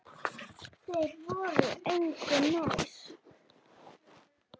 Þeir voru engu nær.